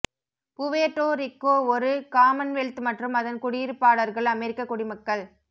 Puerto Rico ஒரு commonwealth மற்றும் அதன் குடியிருப்பாளர்கள் அமெரிக்க குடிமக்கள்